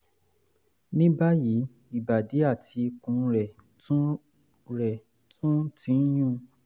ní báyìí ìbàdí àti ikùn rẹ̀ tún rẹ̀ tún ti ń yún un